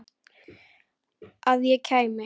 Að ég kæmi?